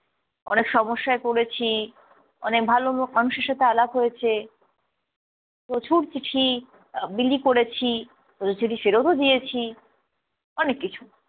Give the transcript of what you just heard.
অনেক সমস্যায় পড়েছি, অনেক ভালো মক~ মানুষের সাথে আলাপ হয়েছে, প্রচুর চিঠি আহ বিলি করেছি, প্রচুর চিঠি ফেরত ও দিয়েছি, অনেক কিছু।